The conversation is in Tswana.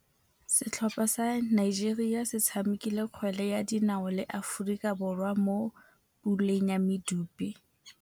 Setlhopha sa Nigeria se tshamekile kgwele ya dinaô le Aforika Borwa mo puleng ya medupe.